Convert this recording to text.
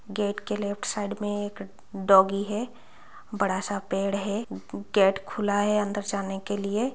Gate के left side में एक डॉगी है बड़ा सा पेड़ है गेट खुला है अंदर जाने के लिए।